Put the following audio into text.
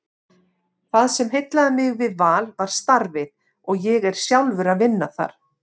Það sem heillaði mig við Val var starfið og ég er sjálfur að vinna þar.